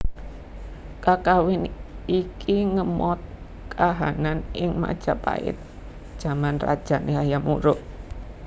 Kakawin iki ngemot kahanan ing Majapahit jaman rajane Hayam Wuruk